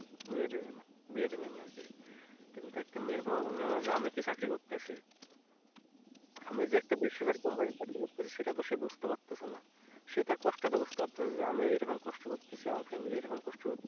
মেয়ে দেবে না বিয়ে দেবে না আরকি কিন্তু একটা মেয়ের বাবা বোঝেনা যে আমি কি চাকরি করতেছি আমি যে একটা বেসরকারি company তে চাকরি করতেছি সেটা সে বুঝতে পারতেছেনা সেটার কষ্ট তা বুঝতে পারতেছেনা আমি এরকম কষ্ট করতেছি আমার family কষ্ট করতেছে